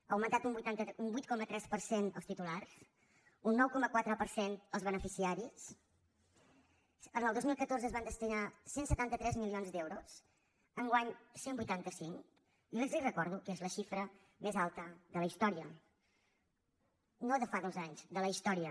ha augmentat un vuit coma tres per cent els titulars un nou coma quatre per cent els beneficiaris el dos mil catorze s’hi van destinar cent i setanta tres milions d’euros enguany cent i vuitanta cinc i els recordo que és la xifra més alta de la història no de fa dos anys de la història